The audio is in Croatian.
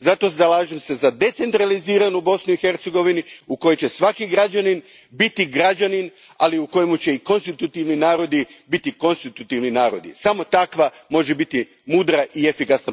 Zato se zalažem za decentraliziranu Bosnu i Hercegovinu u kojoj će svaki građanin biti građanin, ali u kojoj će i konstitutivni narodi biti konstitutivni narodi. Samo takva politika može biti mudra i efikasna,